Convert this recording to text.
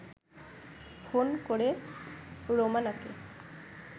phone করে রোমানাকে